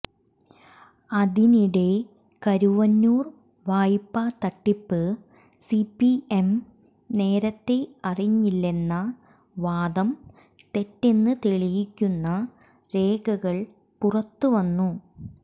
അതിനിടെ കരുവന്നൂർ വായ്പാ തട്ടിപ്പ് സിപിഎം നേരത്തെ അറിഞ്ഞില്ലെന്ന വാദം തെറ്റെന്ന് തെളിയിക്കുന്ന രേഖകൾ പുറത്ത് വന്നു